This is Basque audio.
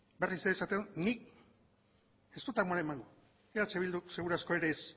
berriz ere esaten dut nik ez dut amore emango eh bilduk seguru asko ere ez